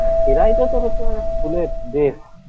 ক্ষীরাইটা তো হচ্ছে মানে ফুলের দেশ